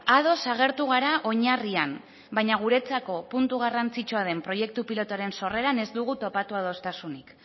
ados agertu gara oinarrian baina guretzako puntu garrantzitsua den proiektu pilotuaren sorreran ez dugu topatu adostasuna